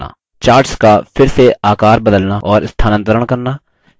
charts का फिर से आकर बदलना और स्थानांतरण करना